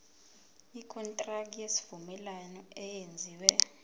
ikontraki yesivumelwano eyenziwe